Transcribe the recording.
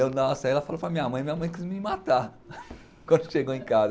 Nossa, aí ela falou para a minha mãe, minha mãe quis me matar quando chegou em casa.